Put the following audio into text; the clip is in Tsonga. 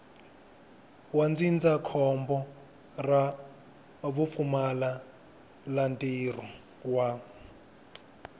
wa ndzindzakhombo ra vupfumalantirho wa